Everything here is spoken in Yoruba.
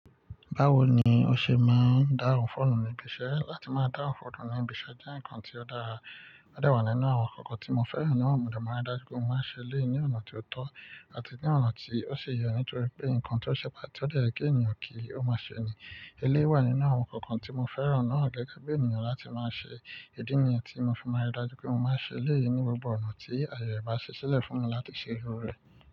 Báwo ni o ṣe máa ń dáhun foonu níbi iṣẹ́? Láti máa dáhun foonu níbi iṣẹ́ jẹ́ ǹkan tí ó dára, ó de wà nínú àwọn nkankan tí mo fẹ́ràn náà mò de máa rí dájú pé mo máa ṣe eleyi ní ọ̀nà tí ó tọ́ àti ní ọ̀nà tí ó si ye nítorí pé ǹkan tí ó ṣe pà to dẹ̀ ye ènìyàn kì o máa ṣe ni. Eléyii wà nínú àwọn nkankan tí mo fẹ́ràn náà gẹ́gẹ́ bí ènìyàn láti máa ṣe, ìdí nìyii tí mo fi má n rí dájú pé mo má n se eleyii ní gbogbo ọ̀nà tí aaye re bá ṣi silẹ̀ fún mi láti ṣe irú rẹ̀.